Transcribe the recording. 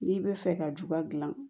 N'i bɛ fɛ ka juba dilan